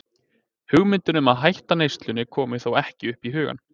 Hugmyndin um að hætta neyslunni kom þó ekki upp í hugann.